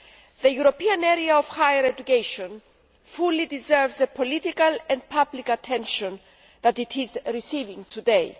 The European area of higher education fully deserves the political and public attention that it is receiving today.